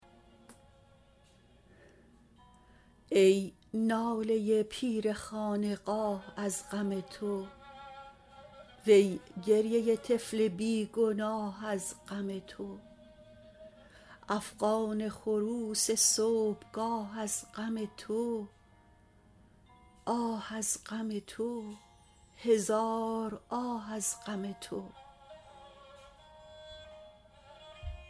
ای ناله پیر خانقاه از غم تو وی گریه طفل بی گناه از غم تو افغان خروس صبح گاه از غم تو آه از غم تو هزار آه از غم تو